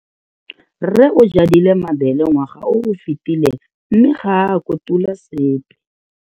Rre o jadile mabele ngwaga o o fetileng mme ga a kotula sepe.